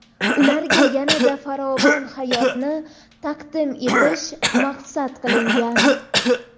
ularga yana-da farovon hayotni taqdim etish maqsad qilingan.